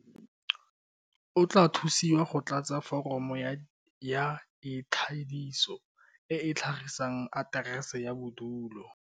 O tla thusiwa go tlatsa foromo ya ikwadiso e e tlhagisang aterese ya bodulo.